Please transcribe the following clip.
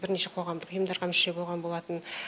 бірнеше қоғамдық ұйымдарға мүше болған болатын